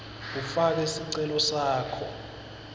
ufake sicelo sakho